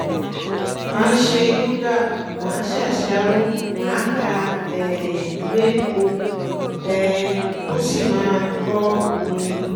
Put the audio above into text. máa ṣe yoga máa ṣàṣàrò máa ka um ìwé kó um o sì máa gbọ́ orin